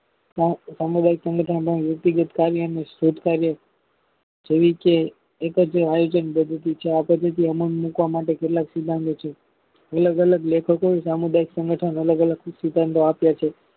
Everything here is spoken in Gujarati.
સ સામુદાયિક સંગઠનો માં વ્યક્તિ ગત કાર્ય નું શોધ કાર્ય સવિકે એકજ આયોજન પદ્ધતિ છે આપદ્ધતિ અમલમાં મુકવા માટે કેટલાક સિદ્ધાંતો છે અલગ અલગ લેખકે સામુદાયિક સંગઠન અલગ અલગ સિદ્ધાંતો આપ્યા છે.